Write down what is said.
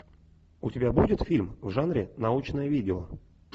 у тебя будет фильм в жанре научное видео